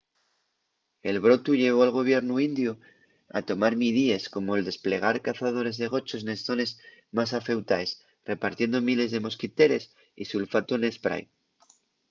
el brotu llevó al gobiernu indiu a tomar midíes como’l desplegar cazadores de gochos nes zones más afeutaes repartiendo miles de mosquiteres y sulfatu n’esprái